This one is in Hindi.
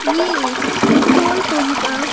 ये एक पेट्रोल पंप का--